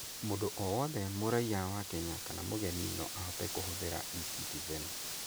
Mũndũ o wothe mũraiya wa Kenya kana mũgeni no ahote kũhũthĩra eCitizen.